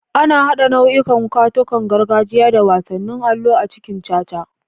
An haɗa nau'ikan katunan gargajiya da wasannin allo a cikin caca.